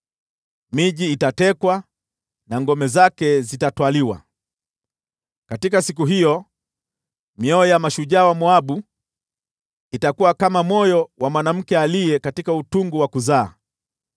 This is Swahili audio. Miji itatekwa na ngome zake zitatwaliwa. Katika siku hiyo, mioyo ya mashujaa wa Moabu itakuwa kama moyo wa mwanamke katika utungu wa kuzaa.